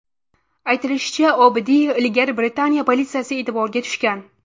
Aytilishicha, Obidiy ilgari Britaniya politsiyasi e’tiboriga tushgan.